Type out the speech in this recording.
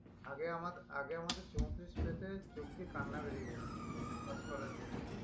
আগে আমার আগে আমাদের চৌতিরিশ পেতে চোখ দিয়ে কান্না বেরিয়ে যেত pass করার জন্যে